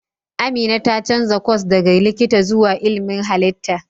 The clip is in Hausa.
Amina ta canza kwas daga likita zuwa ilmin halitta.